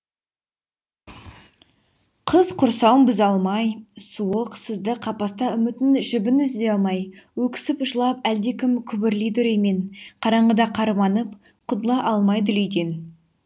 қыс құрсауын бұза алмай суық сызды қапаста үмітін жібін үзе алмай өксіп жылап әлдекім күбірлейді үреймен қараңғыда қарманып құтыла алмай дүлейден